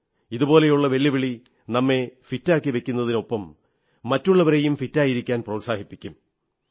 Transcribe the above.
ഇതുപോലുള്ള വെല്ലുവിളി നമ്മെ ഫിറ്റാക്കിവയ്ക്കുന്നതിനൊപ്പം മറ്റുള്ളവരെയും ഫിറ്റായിരിക്കാൻ പ്രോത്സാഹിപ്പിക്കും